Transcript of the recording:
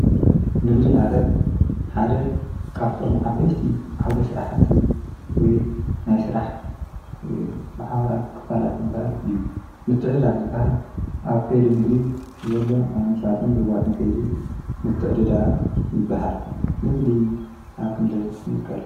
ንግዲ ማለት ሓደ ካብቶም ዓበይቲ ዓውደ ስራሕቲ ወይ ናይ ስራሕ ማሕበራት ክፋላት ዝብሃል እዩ፡፡ ምትዕድዳግ ዝብሃል ኣብ ከይዲ ንግዲ ዘሎ ናይ ምሻጥን ምልዋጥን ከይዲ ምትዕድዳግ ይብሃል፡፡ ናይ ንግዲ ኣብ ክንደይ ይምቀል?